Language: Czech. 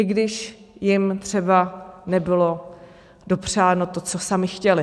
I když jim třeba nebylo dopřáno to, co sami chtěli.